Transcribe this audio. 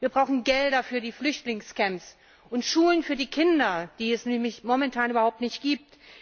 Wir brauchen Gelder für die Flüchtlingscamps und Schulen für die Kinder, die es nämlich momentan überhaupt nicht gibt.